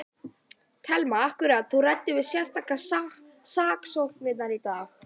Telma: Akkúrat, þú ræddir við sérstaka saksóknara í dag?